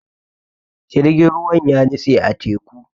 Jirgin ruwan ya nitse a teku.